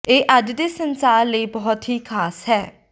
ਇਹ ਅੱਜ ਦੇ ਸੰਸਾਰ ਲਈ ਬਹੁਤ ਹੀ ਖਾਸ ਹੈ